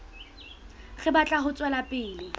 re batla ho tswela pele